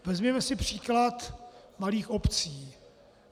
Vezměme si příklad malých obcí.